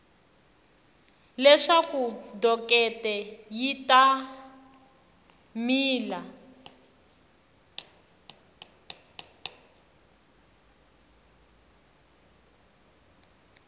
leswaku dokete yi ta mila